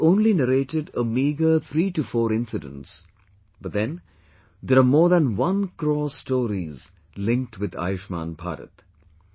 I have only narrated a meagre three to four incidents but then there are more than one crore stories linked with 'Ayushman Bharat'